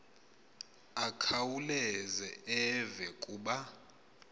akhawuleze eve kuba